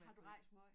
Har du rejst måj